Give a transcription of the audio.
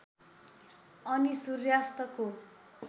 अनि सूर्यास्तको